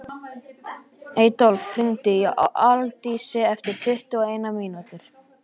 Adólf, hringdu í Aldísi eftir tuttugu og eina mínútur.